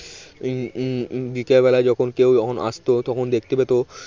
উম উম উম বিকেল বেলা যখন কেউ যখন আসতো তখন দেখতে পেত